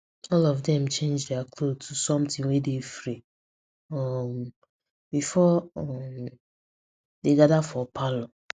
all of them change their cloth to something wey dey free um before um dem gather for parlor